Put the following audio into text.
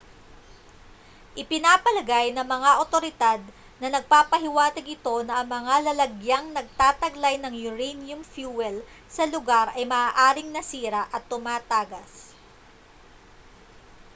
ipinapalagay ng mga otoridad na nagpapahiwatig ito na ang mga lalagyang nagtataglay ng uranium fuel sa lugar ay maaaring nasira at tumatagas